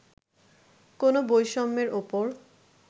কোনও বৈষম্যের ওপর